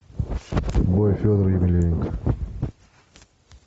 бой федора емельяненко